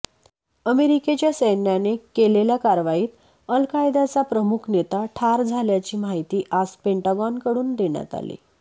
अमेरिकेच्या सैन्याने केलेल्या कारवाईत अल् कायदाचा प्रमुख नेता ठार झाल्याची माहिती आज पेंटागॉनकडून देण्यात आली